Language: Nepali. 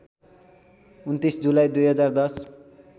२९ जुलाई २०१०